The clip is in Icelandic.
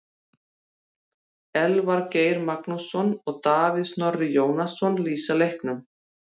Elvar Geir Magnússon og Davíð Snorri Jónasson lýsa leiknum.